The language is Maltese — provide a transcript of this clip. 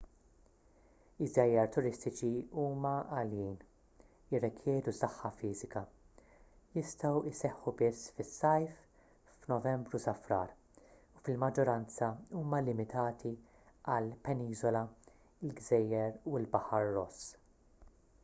iż-żjajjar turistiċi huma għaljin jirrikjedu saħħa fiżika jistgħu jseħħu biss fis-sajf f'novembru-frar u fil-maġġoranza huma limitati għall-peniżola il-gżejjer u l-baħar ross